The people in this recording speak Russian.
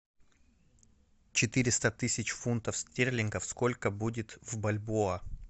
четыреста тысяч фунтов стерлингов сколько будет в бальбоа